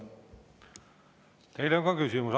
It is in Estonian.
Teile on ka küsimus.